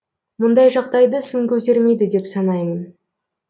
мұндай жағдайды сын көтермейді деп санаймын